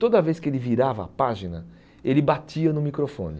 Toda vez que ele virava a página, ele batia no microfone.